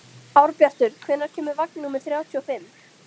Árbjartur, hvenær kemur vagn númer þrjátíu og fimm?